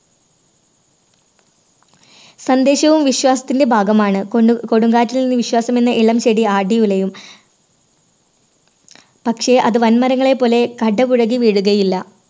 സന്തോഷവും വിശ്വാസത്തിൻറെ ഭാഗമാണ് കൊടു~കൊടുങ്കാറ്റിൽ വിശ്വാസം എന്ന ഇളം ചെടി ആടി ഉലയും പക്ഷേ അത് വൻ മരങ്ങളെ പോലെ കടപുഴകി വീഴുകയില്ല.